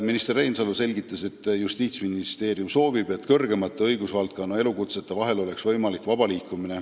Minister Reinsalu selgitas, et Justiitsministeerium soovib, et kõrgemate õigusvaldkonna elukutsete vahel oleks võimalik vabalt liikuda.